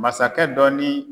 Masakɛ dɔ ni